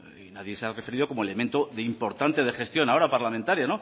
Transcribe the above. nadie se ha referido como elemento de importante de gestión ahora parlamentaria